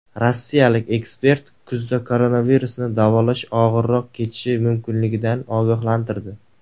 Rossiyalik ekspert kuzda koronavirusni davolash og‘irroq kechishi mumkinligidan ogohlantirdi.